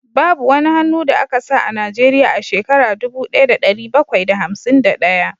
Babu wani hannu da aka sa a Najeriya a shekara dubu daya da dari bakwai da hamsin da daya